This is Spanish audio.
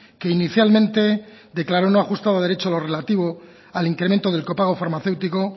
que inicialmente declaró no ajustado a derecho lo relativo al incremento del copago farmacéutico